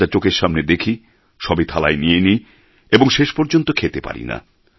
যা যা চোখের সামনে দেখি সবই থালায় নিয়ে নিই এবং শেষ পর্যন্ত খেতে পারি না